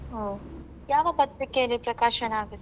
ಹ್ಮ ಯಾವ ಪತ್ರಿಕೆಯಲ್ಲಿ ಪ್ರಕಾಶನ ಆಗುತ್ತೆ?